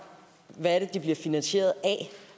hvad er det de bliver finansieret af